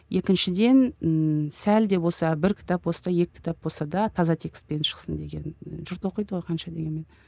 екіншіден ііі сәл де болса бір кітап болса да екі кітап болса да таза текспен шықсын деген жұрт оқиды ғой қанша дегенмен